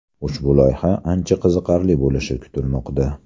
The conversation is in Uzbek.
Ushbu loyiha ancha qiziqarli bo‘lishi kutilmoqda.